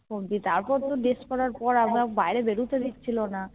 তারপর তো Dress করার পর আমাকে বাইরে বেরোতে দিচ্ছিলনা না